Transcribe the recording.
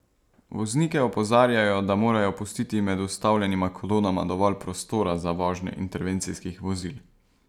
Voznike opozarjajo, da morajo pustiti med ustavljenima kolonama dovolj prostora za vožnjo intervencijskih vozil.